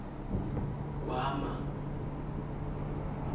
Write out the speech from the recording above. gwama